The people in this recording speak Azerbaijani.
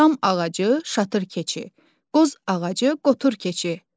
Şam ağacı şatır keçi, qoz ağacı qotur keçi.